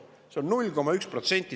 See on 0,1%.